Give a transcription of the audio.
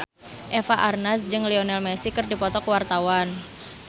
Eva Arnaz jeung Lionel Messi keur dipoto ku wartawan